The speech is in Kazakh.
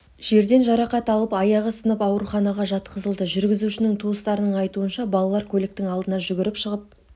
жерден жарақат алып аяғы сынып ауруханаға жатқызылды жүргізушінің туыстарының айтуынша балалар көліктің алдына жүгіріп шығып